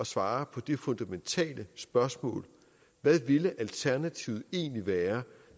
svare på det fundamentale spørgsmål hvad ville alternativet egentlig være